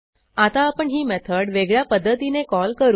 आता आपण ही मेथड वेगळ्या पध्दतीने कॉल करू